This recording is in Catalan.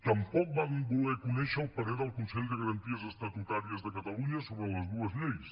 tampoc van voler conèixer el parer del consell de garanties estatutàries de catalunya sobre les dues lleis